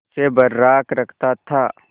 उसे बर्राक रखता था